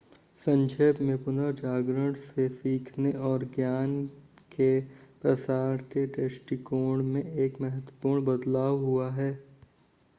संक्षेप में पुनर्जागरण से सीखने और ज्ञान के प्रसार के दृष्टिकोण में एक महत्वपूर्ण बदलाव हुआ है